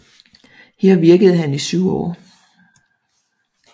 Her virkede han i 7 år